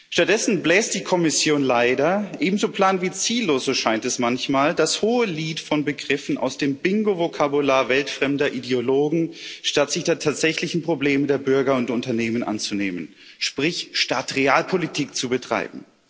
Stattdessen bläst die Kommission leider, ebenso plan wie ziellos, so scheint es manchmal, das Hohelied von Begriffen aus dem Bingo Vokabular weltfremder Ideologen, statt sich der tatsächlichen Probleme der Bürger und Unternehmen anzunehmen sprich, statt Realpolitik zu betreiben.